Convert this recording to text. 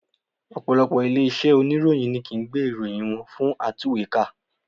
Ọ̀pọ̀lọpọ̀ ilé iṣẹ́ oníròyìn ni kìí gbé ìròyìn wọn fún atúwèékà